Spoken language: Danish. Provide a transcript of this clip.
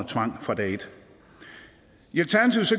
tvang fra dag et